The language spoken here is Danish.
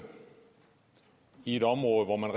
i et område hvor man